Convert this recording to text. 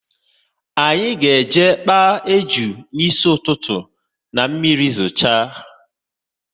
Anyị ga eje kpaa ejuna n'isi ụtụtụ, na mmiri zocha